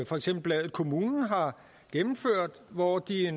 for eksempel bladet kommunen har gennemført hvor de har